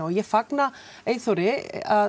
ég fagna Eyþóri